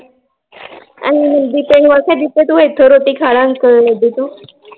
ਜੀਤੇ ਤੂੰ ਏਥੇ ਰੋਟੀ ਖਾ ਲੈ ਅੱਡੇ ਤੋ